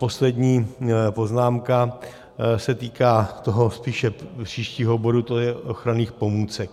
Poslední poznámka se týká toho spíše příštího bodu, to je ochranných pomůcek.